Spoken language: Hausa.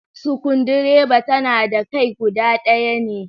Sukundireda tana da kai kuda ɗaya ne